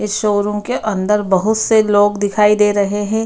इस शो-रूम के अंदर बहुत से लोग दिखाई दे रहें हैं।